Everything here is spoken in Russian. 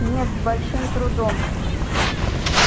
нет с большим трудом